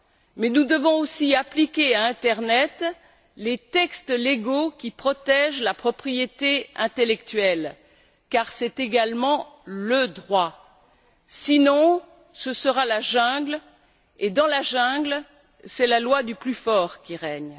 Mais nous devons aussi appliquer à l'internet les textes légaux qui protègent la propriété intellectuelle car c'est également le droit, sinon ce sera la jungle et, dans la jungle, c'est la loi du plus fort qui règne.